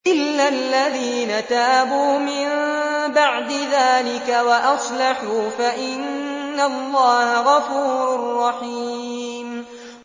إِلَّا الَّذِينَ تَابُوا مِن بَعْدِ ذَٰلِكَ وَأَصْلَحُوا فَإِنَّ اللَّهَ غَفُورٌ رَّحِيمٌ